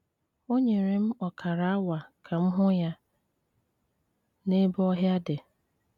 O nyere m ọkara awa ka m hụ ya n’ebe ọhịa dị.